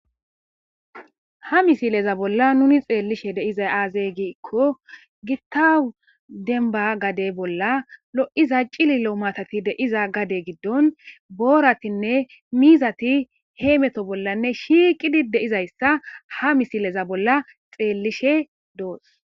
ha misileza bolla nuni xeellishe de7iza aaze giikko gitta denba gade bolla lo7iza cili7lo maatati de7iza gade giddon booratinne miizati heemeto bollanne shiiqidi de7izayssa ha misileza bolla xeellishe doos.